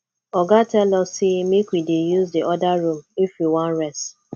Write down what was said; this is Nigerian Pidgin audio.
oga tell us say make we dey use the other room if we wan rest